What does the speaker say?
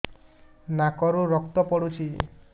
ନାକରୁ ରକ୍ତ ପଡୁଛି